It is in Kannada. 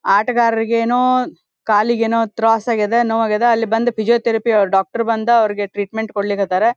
ಆಟಗಾರರಿಗೇನೋ ಕಾಲಿಗೇನೋ ತ್ರಾಸ್ ಆಗದ ನೋವು ಆಗದ ಅಲ್ಲಿ ಬಂದು ಫಿಸಿಯೋತೆರಪಿ ಅವರು ಡಾಕ್ಟರ್ ಬಂದು ಅವರಿಗೆ ಟ್ರೀಟ್ಮೆಂಟ್ ಕೊಡ್ಲಿಕ್ಕತ್ತಾರ.